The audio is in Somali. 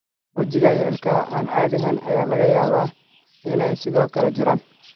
Wajiga iyo ilkaha aan caadi ahayn ayaa laga yaabaa inay sidoo kale jiraan.